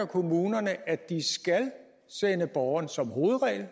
kommunerne at de skal sende borgerne som hovedregel